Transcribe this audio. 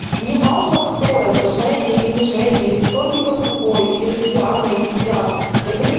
неважно кто это женя или не женя или кто либо другой или это диана или ни диана